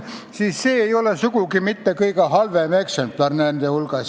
See ei ole teiste hulgas sugugi mitte see kõige halvem eksemplar.